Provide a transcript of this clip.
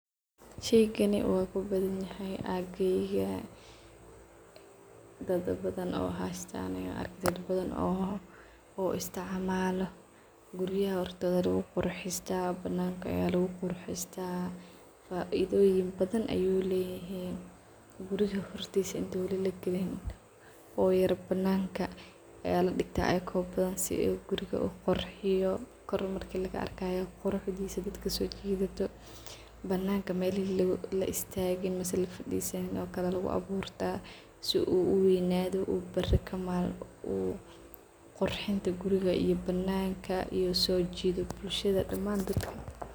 Sheeygani wakubadhanyahay ageyaha dad badhan oo hastan ayan arki dad badhan oo isticmala guriyaha hortodha lagu qurxista bananka aya lagu qurxista faidhoyin badhan ayuu leyehe guriga hortisa inta wali lagalin oo Yara bananka aya ladigta ayako badhan si ay guriga u qurxiyo kor marka laga arkayo quruxdisa mid so jidhato bananka melihi la istagin misa lafadisanin lagu aburta si u weynadho biri kamalin oo qurxinta guriga iyo bananka iyo sojidho bulshadho damaan dadka.